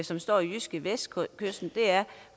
som står i jydskevestkysten er